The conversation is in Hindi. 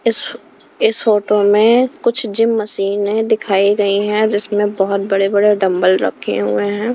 इस इस फोटो में कुछ जिम मशीने दिखाई गई हैं जिसमें बहोत बड़े बड़े डंबल रखे हुए हैं।